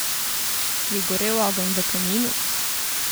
Je gorel ogenj v kaminu?